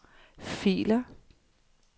filer